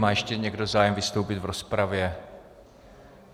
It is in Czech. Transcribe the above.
Má ještě někdo zájem vystoupit v rozpravě?